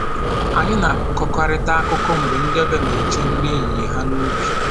Anyị na-akọkarịta akụkọ mgbe ndị ọbịa na-eche nri ehihie ha n'ubi